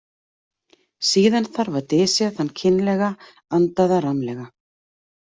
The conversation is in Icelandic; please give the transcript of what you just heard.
Síðan þarf að dysja þann kynlega andaða rammlega.